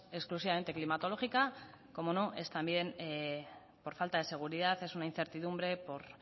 exclusivamente climatológica como no es también por falta de seguridad es una incertidumbre por